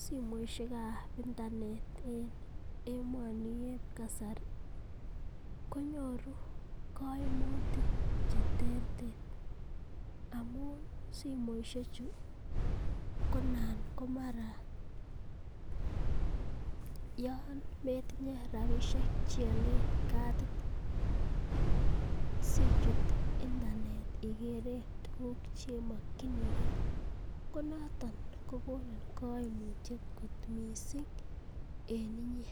Simoishek ab intenet en emoni eb kasari konyoru koimutik che terter amun simoisheju konan komara yon metinye rabishek che olen katit sichut internet igeren tuguk che mokinige konooton ko konin koimutiet kot mising en inye.